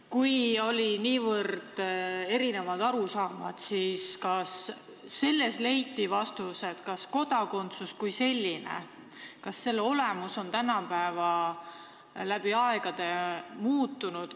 Kui oli niivõrd erinevaid arusaamu, siis kas leiti vastus, kas kodakondsus kui selline, selle olemus on läbi aegade muutunud?